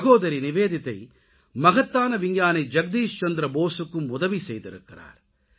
சகோதரி நிவேதிதா மகத்தான விஞ்ஞானி ஜக்தீஷ்சந்திர போசுக்கும் உதவி செய்திருக்கிறார்